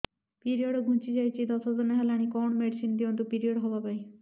period ଘୁଞ୍ଚି ଯାଇଛି ଦଶ ଦିନ ହେଲାଣି କଅଣ ମେଡିସିନ ଦିଅନ୍ତୁ ପିରିଅଡ଼ ହଵା ପାଈଁ